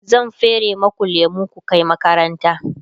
zan fere maku lemu ku Kai makaranta